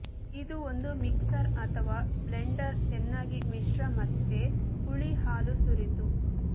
ಇದು ಒಂದು ಮಿಕ್ಸರ್ ಅಥವಾ ಬ್ಲೆಂಡರ್ ಚೆನ್ನಾಗಿ ಮಿಶ್ರ ಮತ್ತೆ ಹುಳಿ ಹಾಲು ಸುರಿದು